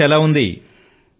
Jos ఎలా ఉంది